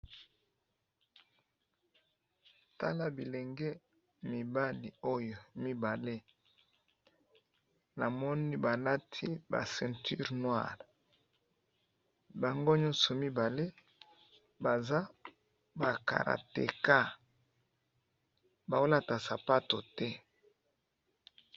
Tala bilenge mibali oyo mibale, namoni balati ba ceinture noir bango nyoso baza ba karateka, baolata sapato te.